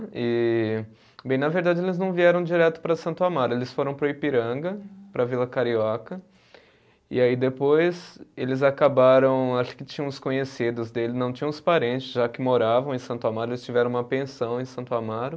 E, bem, na verdade eles não vieram direto para Santo Amaro, eles foram para o Ipiranga, para a Vila Carioca, e aí depois eles acabaram, acho que tinham os conhecidos dele, não tinham os parentes, já que moravam em Santo Amaro, eles tiveram uma pensão em Santo Amaro.